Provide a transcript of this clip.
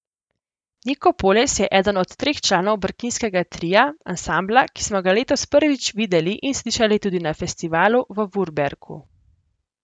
Niko Poles je eden od treh članov Brkinskega tria, ansambla, ki smo ga letos prvič videli in slišali tudi na festivalu v Vurberku.